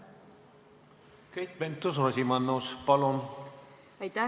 Keit Pentus-Rosimannus, palun!